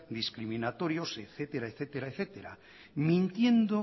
discriminatorios etcétera mintiendo